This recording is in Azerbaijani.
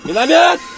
Minaatan!